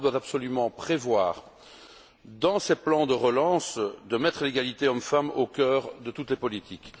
L'Europe doit absolument prévoir, dans ses plans de relance, de mettre l'égalité hommes femmes au cœur de toutes les politiques.